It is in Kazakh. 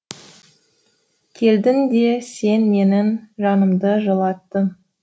келдің де сен менің жанымды жылаттың